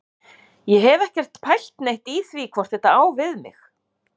Ég hef ekkert pælt neitt í því hvort þetta á við mig.